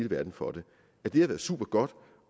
verden for det har været supergodt